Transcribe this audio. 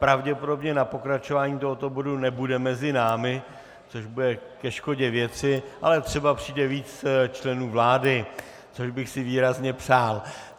Pravděpodobně na pokračování tohoto bodu nebude mezi námi, což bude ke škodě věci, ale třeba přijde víc členů vlády, což bych si výrazně přál.